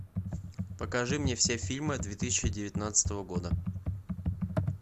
покажи мне все фильмы две тысячи девятнадцатого года